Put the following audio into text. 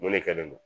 Mun ne kɛlen no